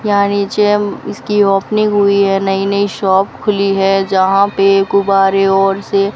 यहां नीचे अम् इसकी ओपनिंग हुई है नई नई शॉप खुली है जहां पे गुब्बारे और से --